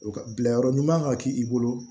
O ka bila yɔrɔ ɲuman ka k'i bolo